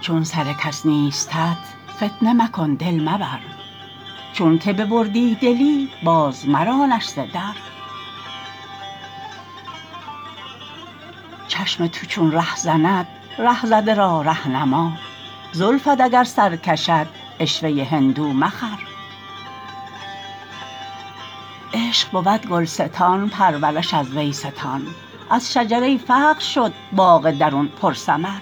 چون سر کس نیستت فتنه مکن دل مبر چونک ببردی دلی باز مرانش ز در چشم تو چون رهزند ره زده را ره نما زلفت اگر سر کشد عشوه هندو مخر عشق بود گلستان پرورش از وی ستان از شجره فقر شد باغ درون پرثمر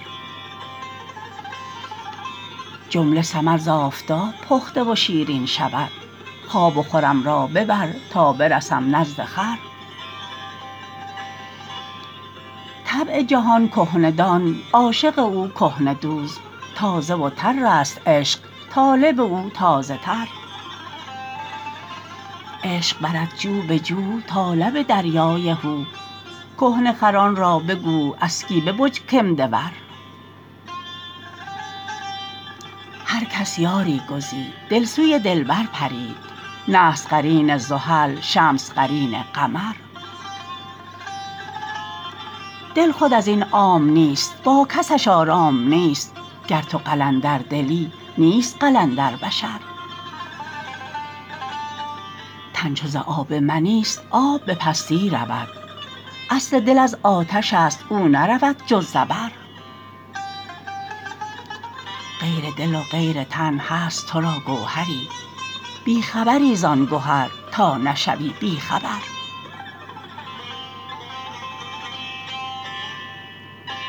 جمله ثمر ز آفتاب پخته و شیرین شود خواب و خورم را ببر تا برسم نزد خور طبع جهان کهنه دان عاشق او کهنه دوز تازه و ترست عشق طالب او تازه تر عشق برد جوبجو تا لب دریای هو کهنه خران را بگو اسکی ببج کمده ور هر کس یاری گزید دل سوی دلبر پرید نحس قرین زحل شمس قرین قمر دل خود از این عام نیست با کسش آرام نیست گر تو قلندردلی نیست قلندر بشر تن چو ز آب منیست آب به پستی رود اصل دل از آتشست او نرود جز زبر غیر دل و غیر تن هست تو را گوهری بی خبری زان گهر تا نشوی بی خبر